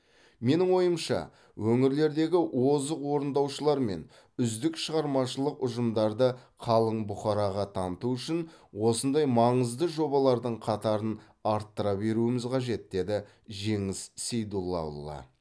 менің ойымша өңірлердегі озық орындаушылар мен үздік шығармашылық ұжымдарды қалың бұқараға таныту үшін осындай маңызды жобалардың қатарын арттыра беруіміз қажет деді жеңіс сейдуллаұлы